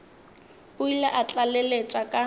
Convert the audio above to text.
o ile a tlaleletša ka